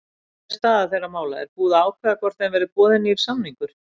Hvernig er staða þeirra mála, er búið að ákveða hvort þeim verði boðinn nýr samningur?